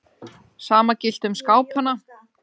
Sama gilti um skápana.